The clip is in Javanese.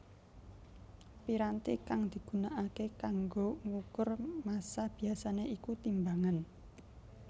Piranti kang digunakaké kanggo ngukur massa biasané iku timbangan